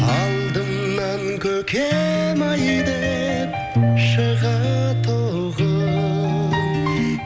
алдымнан көкем ай деп шығатұғын